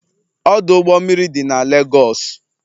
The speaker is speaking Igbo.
Ọdụ ụgbọ mmiri dị na Legosu